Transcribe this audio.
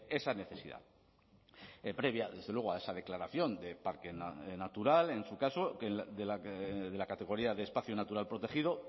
esa necesidad previa desde luego a esa declaración de parque natural en su caso de la categoría de espacio natural protegido